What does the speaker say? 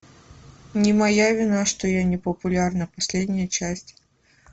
не моя вина что я не популярна последняя часть